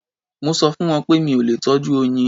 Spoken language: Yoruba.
Mo sọ fún wọn pé mi ò lè tọ́jú oyin.